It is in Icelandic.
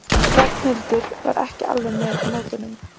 Ragnhildur var ekki alveg með á nótunum.